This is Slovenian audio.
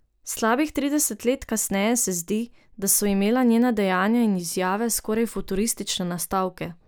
Slabih trideset let kasneje se zdi, da so imela njena dejanja in izjave skoraj futuristične nastavke.